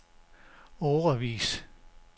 årevis